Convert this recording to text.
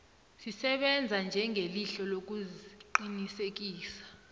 zisebenza njengelihlo lokuqinisekisa